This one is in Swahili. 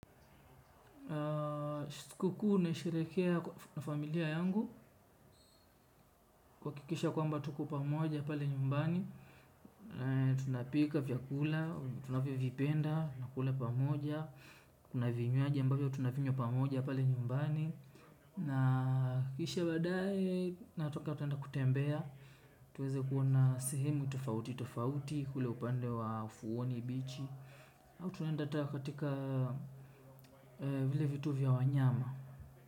Sikuku naisherekea na familia yangu, kwa kikisha kwamba tuko pamoja pale nyumbani, tunapika vyakula, tunaviyo vipenda, tunakula pamoja, kuna vinyuaji ambavyo tunavinya pamoja pale nyumbani, nakisha badae natoka tuenda kutembea, tuweze kuona sehemu tofauti, tofauti, kule upande wa ufuoni, bichi, au tunaenda hata katika vile vituo vya wanyama.